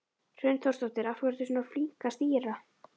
Hrund Þórsdóttir: Af hverju ertu svona flink að stýra?